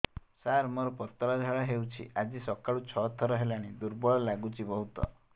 ସାର ମୋର ପତଳା ଝାଡା ହେଉଛି ଆଜି ସକାଳୁ ଛଅ ଥର ହେଲାଣି ଦୁର୍ବଳ ଲାଗୁଚି ବହୁତ